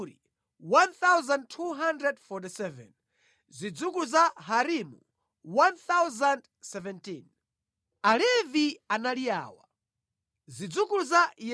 Alevi anali awa: Zidzukulu za Yesuwa ndi Kadimieli (kudzera mwa ana a Hodaviya) 74.